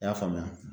I y'a faamuya